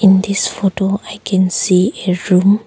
In this photo I can see a room.